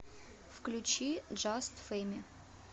включи джаст феми